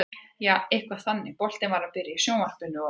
Jaa, eitthvað þannig, boltinn var að byrja í sjónvarpinu og.